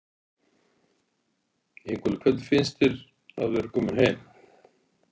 Ingólfur: Hvernig finnst þér að vera kominn heim?